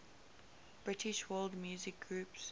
british world music groups